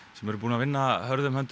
sem eru búnir að vinna hörðum höndum